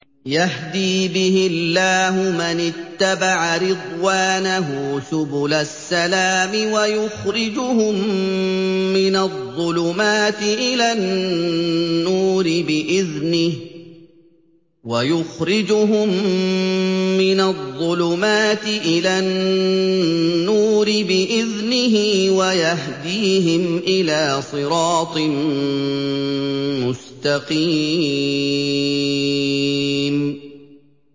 يَهْدِي بِهِ اللَّهُ مَنِ اتَّبَعَ رِضْوَانَهُ سُبُلَ السَّلَامِ وَيُخْرِجُهُم مِّنَ الظُّلُمَاتِ إِلَى النُّورِ بِإِذْنِهِ وَيَهْدِيهِمْ إِلَىٰ صِرَاطٍ مُّسْتَقِيمٍ